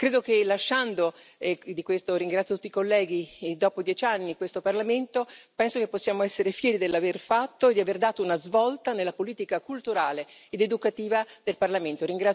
Credo che, lasciando, e di questo ringrazio tutti colleghi, dopo dieci anni questo Parlamento, penso che possiamo essere fieri dell'aver fatto e di aver dato una svolta nella politica culturale ed educativa del Parlamento.